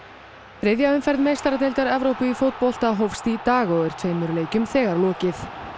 þriðja umferð meistaradeildar Evrópu í fótbolta hófst í dag og er tveimur leikjum þegar lokið